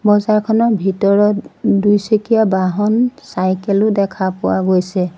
বজাৰখনৰ ভিতৰত দুইচকীয়া বাহন চাইকেল ও দেখা পোৱা গৈছে।